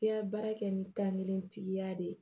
I ka baara kɛ ni tankelen tigiya de ye